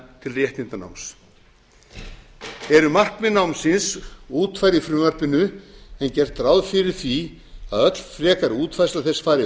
til réttindanáms eru markmið námsins útfærð í frumvarpinu en gert ráð fyrir því að öll frekari útfærsla þess fari